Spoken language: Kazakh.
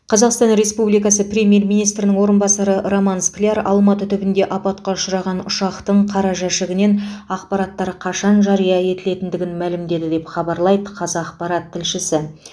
қазақстан республикасы премьер министрінің орынбасары роман скляр алматы түбінде апатқа ұшыраған ұшақтың қара жәшігінен ақпараттар қашан жария етілетіндігін мәлімдеді деп хабарлайды қазақпарат тілшісі